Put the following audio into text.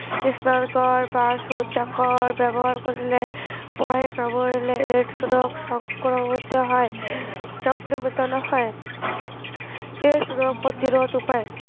স্নানাগাৰ বা শৌচাগাৰ ব্য়ৱহাৰ কৰিলে, মহে কামোৰিলে AIDS ৰোগ সংক্ৰমিত হয়, সংক্ৰমিত নহয়। AIDS ৰোগ প্ৰতিৰোধ উপায়।